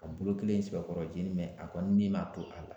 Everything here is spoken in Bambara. A bolo kelen sɛbɛkɔrɔ jeninen a kɔni ni m'a to a la